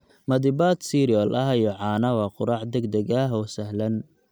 Madiibad cereal ah iyo caano waa quraac degdeg ah oo sahlan.